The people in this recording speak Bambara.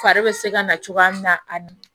Fari be se ka na cogoya min na a ni